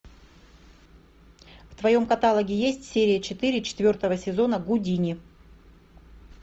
в твоем каталоге есть серия четыре четвертого сезона гудини